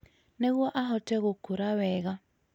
Nĩguo ahote gũkũra wega,